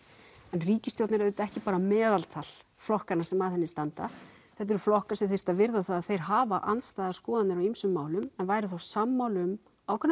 en ríkisstjórn er auðvitað ekki bara meðaltal flokkanna sem að henni standa þetta eru flokkar sem þyrftu að virða að þeir hafa andstæðar skoðanir á ýmsum málum en væru þá sammála um ákveðnar